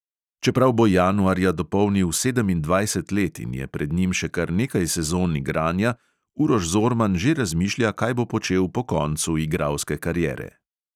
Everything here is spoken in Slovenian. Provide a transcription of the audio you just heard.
Čeprav bo januarja dopolnil sedemindvajset let in je pred njim še kar nekaj sezon igranja, uroš zorman že razmišlja, kaj bo počel po koncu igralske kariere.